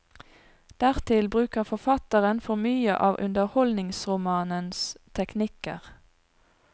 Dertil bruker forfatteren for mye av underholdningsromanens teknikker.